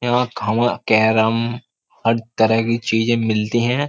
हर तरह की चीजें मिलती हैं।